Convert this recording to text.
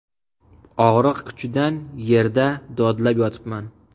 Og‘riq kuchidan yerda dodlab yotibman.